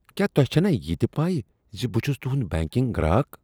کیا تۄہہ چھنا یہِ تہِ پَے زِ بہٕ چُھس تُہنٛد بینکِنگ گراکھ۔